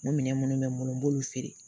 Minɛn minnu bɛ n bolo n b'olu feere